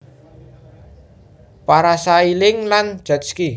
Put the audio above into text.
Parasailing lan jetski